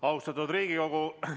Austatud Riigikogu!